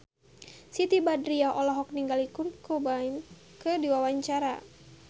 Siti Badriah olohok ningali Kurt Cobain keur diwawancara